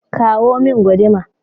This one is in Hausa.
kawo min guduma!